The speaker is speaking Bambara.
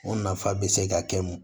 O nafa bɛ se ka kɛ mun